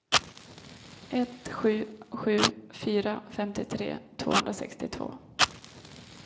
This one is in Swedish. ett sju sju fyra femtiotre tvåhundrasextiotvå